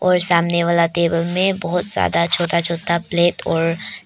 सामने वाला टेबल मे बहोत ज्यादा छोटा छोटा प्लेट और--